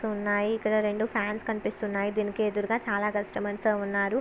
ఉన్నాయి. ఇక్కడ రెండు ఫ్యాన్స్ కనిపిస్తున్నాయి. దీనికి ఎదురుగా చాలా కష్టమర్స్ ఉన్నారు.